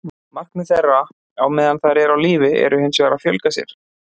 Markmið þeirra á meðan þær eru á lífi er hins vegar að fjölga sér.